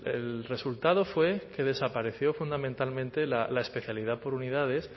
el resultado fue que desapareció fundamentalmente la especialidad por unidades